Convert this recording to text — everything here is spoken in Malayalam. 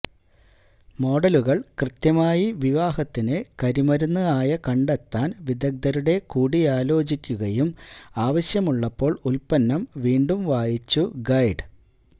മോഡലുകൾ കൃത്യമായി വിവാഹത്തിന് കരിമരുന്ന് ആയ കണ്ടെത്താൻ വിദഗ്ധരുടെ കൂടിയാലോചിക്കുകയും ആവശ്യമുള്ളപ്പോൾ ഉൽപ്പന്നം വീണ്ടും വായിച്ചു ഗൈഡ്